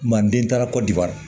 Manden taara kɔdiwari